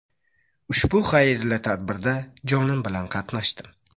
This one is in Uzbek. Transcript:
Ushbu xayrli tadbirda jonim bilan qatnashdim.